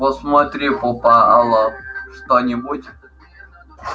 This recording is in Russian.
посмотри попало что-нибудь